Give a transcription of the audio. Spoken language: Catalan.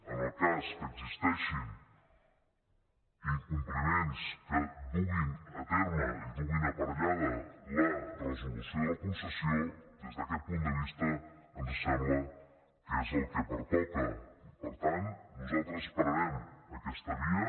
en el cas que existeixin incompliments que duguin a terme i duguin aparellada la resolució de la concessió des d’aquest punt de vista ens sembla que és el que pertoca i per tant nosaltres esperarem aquesta via